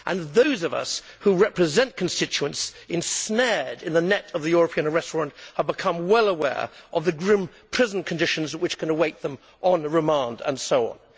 Those of us who represent constituents ensnared in the net of the European arrest warrant have become well aware of the grim prison conditions which can await them on remand and so on.